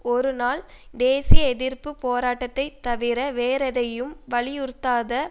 ஒரு நாள் தேசிய எதிர்ப்பு போராட்டத்தை தவிர வேறெதையும் வலியுறுத்தாத